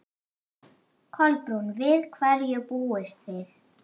Kolbrún, við hverju búist þið?